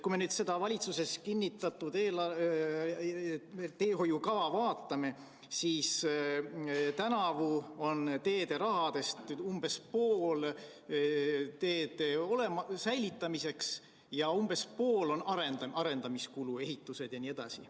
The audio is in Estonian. Kui me nüüd seda valitsuses kinnitatud teehoiukava vaatame, siis tänavu on teederahast umbes pool ette nähtud teede hoidmiseks ja umbes pool on arendamiskulu, ehitused jne.